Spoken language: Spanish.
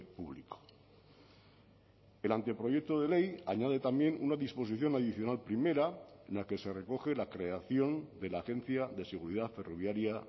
público el anteproyecto de ley añade también una disposición adicional primera en la que se recoge la creación de la agencia de seguridad ferroviaria